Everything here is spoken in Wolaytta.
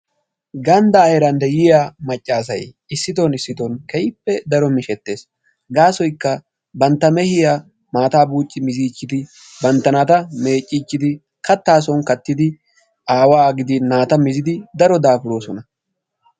Ganddaa heeran de'ya macca asay issiton issiton keehippe daro mishettes. Gaasoykka bantta mehiya maataa buucci miziichchidi bantta naata meecciichchid kattaa son kattidi aawaa gidin naata mizidi daro daafuroosona.